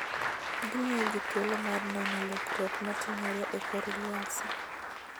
Gimiyo ji thuolo mar neno lokruok matimore e kor lwasi.